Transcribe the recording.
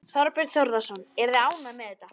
Þorbjörn Þórðarson: Eruð þið ánægð með þetta?